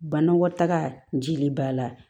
Banakɔtaga jili b'a la